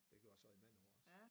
Det gjorde jeg så i men nogen års